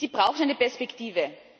Sie brauchen eine Perspektive.